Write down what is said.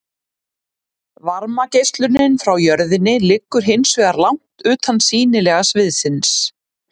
Varmageislunin frá jörðinni liggur hins vegar langt utan sýnilega sviðsins.